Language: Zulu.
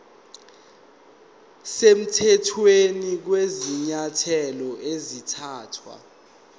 semthethweni kwezinyathelo ezathathwa